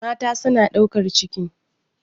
Mata suna ɗaukar ciki.